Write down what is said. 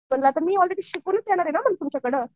म्हणलं मी आलरेडी शिकूनच येणार आहे ना तुमच्याकडं.